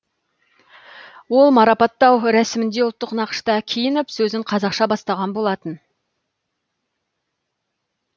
ол марапаттау рәсімінде ұлттық нақышта киініп сөзін қазақша бастаған болатын